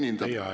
Teie aeg!